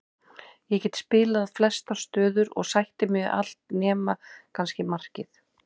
Ég get spilað flestar stöður og sætti mig við allt nema kannski markið.